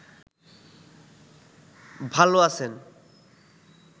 ভাল আছেন